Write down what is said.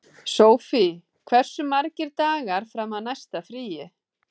Félagið þurfi frekar að ráða yfirmann knattspyrnumála.